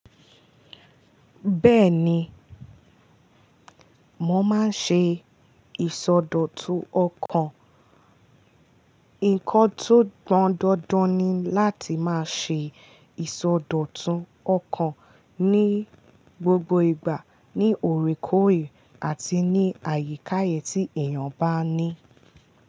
Bẹ́ẹ̀ni, mo máa ń ṣe ìsọdọ̀tun ọkàn. Ǹkan tó pọ́n dandan ni láti máa ṣe ìsọdọ̀tun ọkàn ní gbogbo ìgbà, ní òrékòré àti ní àyekáye tí èèyàn bá ní.